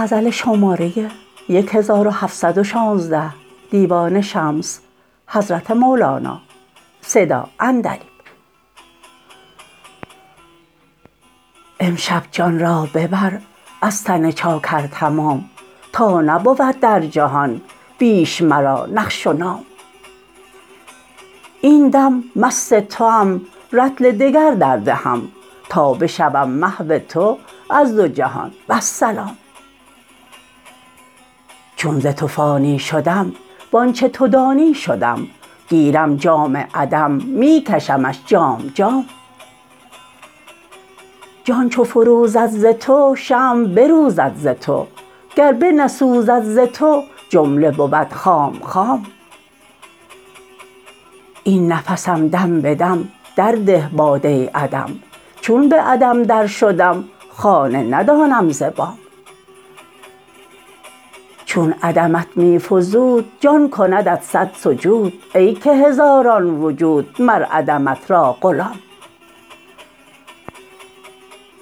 امشب جان را ببر از تن چاکر تمام تا نبود در جهان بیش مرا نقش و نام این دم مست توام رطل دگر دردهم تا بشوم محو تو از دو جهان والسلام چون ز تو فانی شدم و آنچ تو دانی شدم گیرم جام عدم می کشمش جام جام جان چو فروزد ز تو شمع بروزد ز تو گر بنسوزد ز تو جمله بود خام خام این نفسم دم به دم درده باده عدم چون به عدم درشدم خانه ندانم ز بام چون عدمت می فزود جان کندت صد سجود ای که هزاران وجود مر عدمت را غلام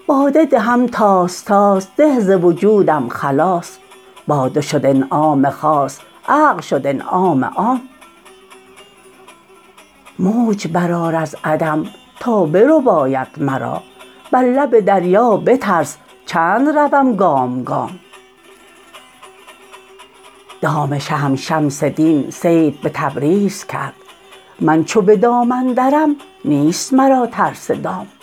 باده دهم طاس طاس ده ز وجودم خلاص باده شد انعام خاص عقل شد انعام عام موج برآر از عدم تا برباید مرا بر لب دریا به ترس چند روم گام گام دام شهم شمس دین صید به تبریز کرد من چو به دام اندرم نیست مرا ترس دام